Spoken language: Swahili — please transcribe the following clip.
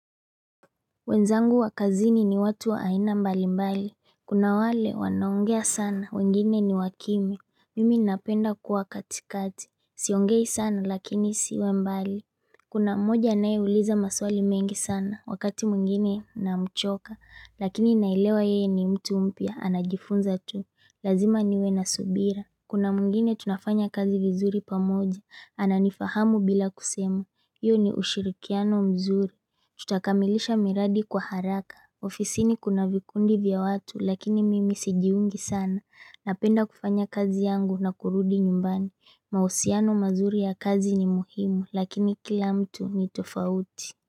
Wenzangu wakazini ni watu waaina mbali mbali Kuna wale wanaongea sana wengine ni wakimia Mimi napenda kuwa katikati Siongei sana lakini siwe mbali Kuna moja nae uliza maswali mengi sana wakati mungine na mchoka Lakini nailewa yeye ni mtu umpia anajifunza tuu Lazima niwe na subira Kuna mungine tunafanya kazi vizuri pamoja ananifahamu bila kusemu Iyo ni ushirikiano mzuri tutakamilisha miradi kwa haraka ofisi ni kuna vikundi vya watu lakini mimi sijiungi sana napenda kufanya kazi yangu na kurudi nyumbani mahusiano mazuri ya kazi ni muhimu lakini kila mtu ni tofauti.